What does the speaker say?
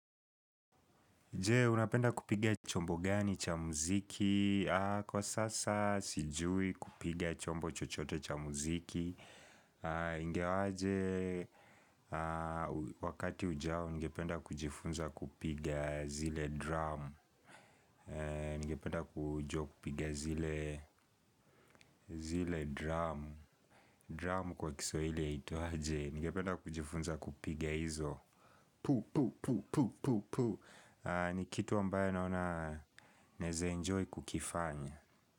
Jee, unapenda kupiga chombo gani cha mziki? Kwa sasa, sijui kupiga chombo chochote cha mziki. Ingawaje, wakati ujao, ningependa kujifunza kupiga zile dramu. Ningependa kujua kupiga zile dramu. Drum kwa kiswahili huitwa aje. Ningependa kujifunza kupiga hizo. Puu, puu, puu, puu, puu. Ni kitu ambayo naona naezenjoy kukifanya.